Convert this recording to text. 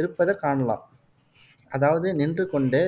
இருப்பதைக் காணலாம். அதாவது நின்று கொண்டு,